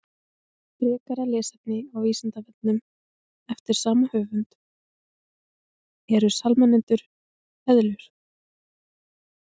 Frekara lesefni á Vísindavefnum eftir sama höfund: Eru salamöndrur eðlur?